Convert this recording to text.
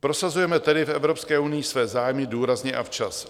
Prosazujme tedy v Evropské unii své zájmy důrazně a včas.